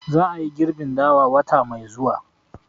Za a yi girbin dawa wata mai zuwa